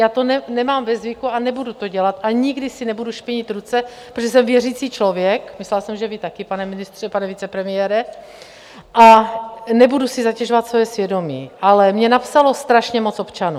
Já to mám ve zvyku a nebudu to dělat a nikdy si nebudu špinit ruce, protože jsem věřící člověk, myslela jsem, že vy taky, pane ministře, pane vicepremiére , a nebudu si zatěžovat svoje svědomí, ale mně napsalo strašně moc občanů.